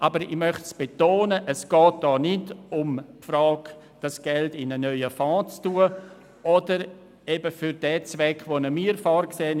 Aber ich möchte betonen, dass es hier nicht um die Frage geht, ob das Geld in einen neuen Fonds eingelegt wird oder es für den Zweck eingesetzt wird, den wir vorsehen.